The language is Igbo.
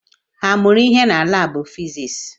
Ha mụrụ ihe na laabụ fiziks?